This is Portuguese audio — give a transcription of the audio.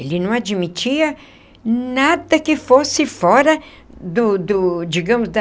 Ele não admitia nada que fosse fora do do, digamos, da...